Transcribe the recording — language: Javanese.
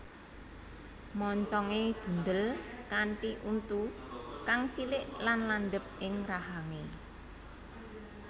Moncongé bundhel kanthi untu kang cilik lan landhep ing rahangé